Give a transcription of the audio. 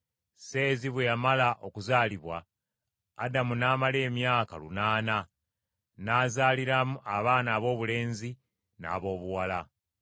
Seezi bwe yamala okuzaalibwa, Adamu n’amala emyaka lunaana, n’azaaliramu abaana aboobulenzi n’aboobuwala.